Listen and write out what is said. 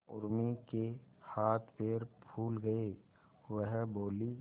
उर्मी के हाथ पैर फूल गए वह बोली